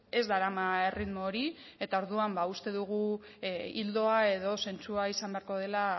ez darama erritmo hori eta orduan ba uste dugu ildoa edo zentzua izan beharko dela